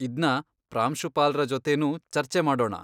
ಇದ್ನ ಪ್ರಾಂಶುಪಾಲ್ರ ಜೊತೆನೂ ಚರ್ಚೆ ಮಾಡೋಣ.